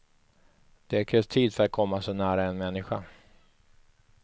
Det krävs tid för att komma så nära en människa.